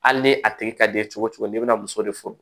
Hali ni a tigi ka di ye cogo cogo n'i bɛna muso de furu